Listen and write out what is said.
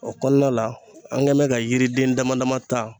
O kɔnɔna la an kɛn bɛ ka yiriden dama dama ta.